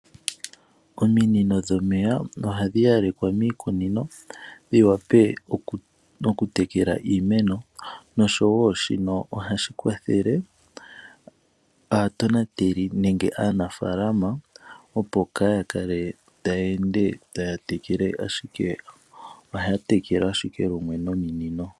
Ominino dhomeya ohadhi yalekwa miikunino dhi wape okutekela iimeno noshowo shino ohashi kwathele aatonateli nenge aanafaalama opo ka ya kale taya ende taya tekele. Ohaya tekele ashike lumwe nominino.